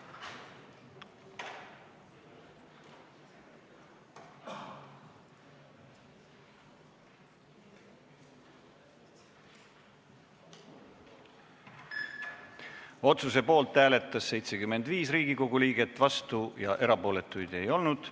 Hääletustulemused Otsuse poolt hääletas 75 Riigikogu liiget, vastuolijaid ega erapooletuid ei olnud.